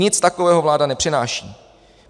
Nic takového vláda nepřináší.